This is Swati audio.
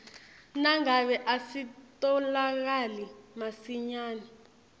nangabe asitfolakali masinyane